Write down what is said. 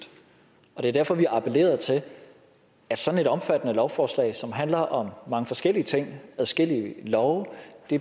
og det er derfor vi har appelleret til at sådan et omfattende lovforslag som handler om mange forskellige ting adskillige love